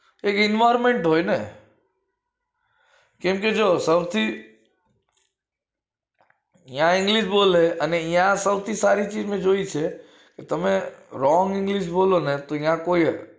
એક environment હોય ને કેમ કે સોંથી યા english બોલે સોથી સારી ચીજ મેં જોઈ છે તમે wrong બોલો ને કોઈક